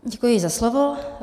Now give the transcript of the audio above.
Děkuji za slovo.